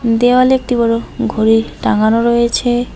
দেওয়ালে একটি বড় ঘড়ি টাঙানো রয়েছে।